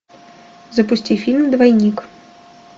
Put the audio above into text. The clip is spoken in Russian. запусти фильм двойник